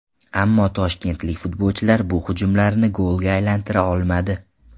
Ammo toshkentlik futbolchilar bu hujumlarni golga aylantira olmadi.